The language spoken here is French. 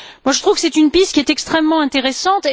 Je trouve que c'est une piste qui est extrêmement intéressante.